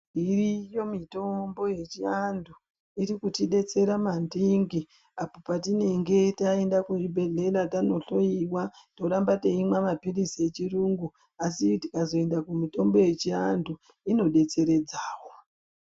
Iriyo mitombo yechiandu ikuti etsera mandingi apo patinenge taenda kuzvubhedlera tanotoyiwa toramba teimwa mapiritsi yechirungu asi takazoenda kumitombo yechiandu inobetseredzawo.